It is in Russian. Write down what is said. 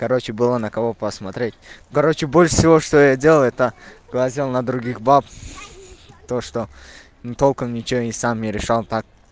короче была на кого посмотреть короче больше всего что я делал это глазел на других баб то что толком ничего и сам не решал так